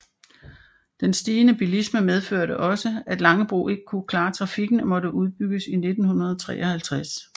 Den stigende bilisme medførte også at Langebro ikke kunne klare trafikken og måtte udbygges i 1953